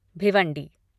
Bhiwandi